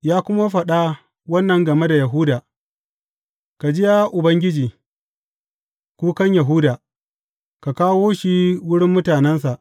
Ya kuma faɗa wannan game da Yahuda, Ka ji, ya Ubangiji, kukan Yahuda; ka kawo shi wurin mutanensa.